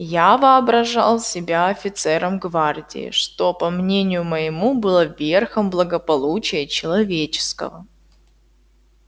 я воображал себя офицером гвардии что по мнению моему было верхом благополучия человеческого